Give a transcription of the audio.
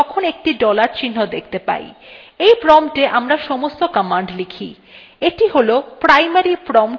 যখন আমরা terminal খুলি তখন একটি dollar চিহ্ন দেখতে পাই when promptwe আমরা সমস্ত commands লিখি